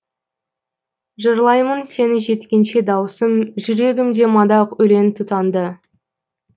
жырлаймын сені жеткенше дауысым жүрегімде мадақ өлең тұтанды